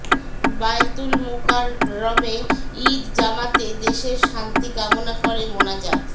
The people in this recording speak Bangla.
বায়তুল মোকাররমে ঈদ জামাতে দেশের শান্তি কামনা করে মোনাজাত